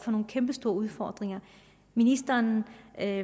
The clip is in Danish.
nogle kæmpestore udfordringer ministeren er